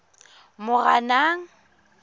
moranang